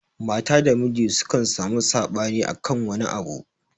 Mata da Miji sukan samu saɓani akan wani abu.